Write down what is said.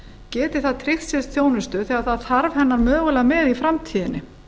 geti það tryggt sér þjónustu þegar það þarf hennar mögulega með í framtíðinni